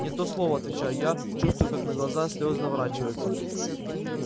не то слово отвечаю я чувствуя как на глаза слёзы наворачиваются